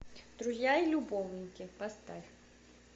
друзья и любовники поставь